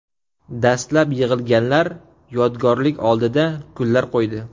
Dastlab yig‘ilganlar yodgorlik oldiga gullar qo‘ydi.